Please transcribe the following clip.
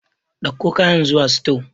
Ɗauko kayan zuwa sito.